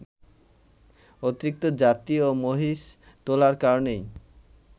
অতিরিক্ত যাত্রী ও মহিষ তোলার কারণেই